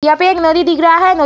यहाँ पे एक नदी दिख रहा है न --